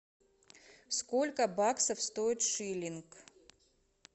сколько баксов стоит шиллинг